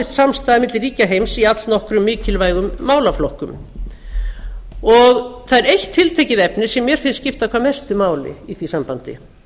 samstaða milli ríkja heims í allnokkrum mikilvægum málaflokkum það er eitt tiltekið efni sem mér finnst skipta hvað mestu máli í því sambandi